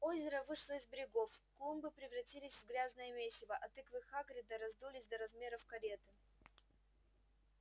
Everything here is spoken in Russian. озеро вышло из берегов клумбы превратились в грязное месиво а тыквы хагрида раздулись до размеров кареты